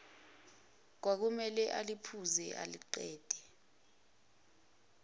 kwakufanele aliphuze aliqede